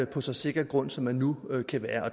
på så sikker en grund som det nu kan være